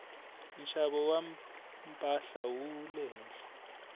nxavo wa mpahla wu le henhla